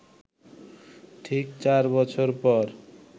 ঠিক চার বছর পর